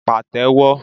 pa té wọ